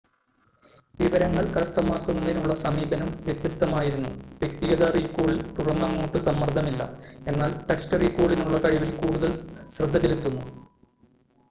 വിവരങ്ങൾ കരസ്ഥമാക്കുന്നതിനുള്ള സമീപനം വ്യത്യസ്തമായിരുന്നു വ്യക്തിഗത റീകോളിൽ തുടർന്നങ്ങോട്ട് സമ്മർദ്ദമില്ല എന്നാൽ ടെക്‌സ്റ്റ് റീകോളിനുള്ള കഴിവിൽ കൂടുതൽ ശ്രദ്ധ ചെലുത്തുന്നു